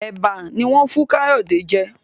Eba no wón fún Kayode jé.